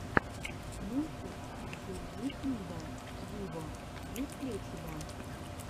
мультик зе викнда виво есть ли у тебя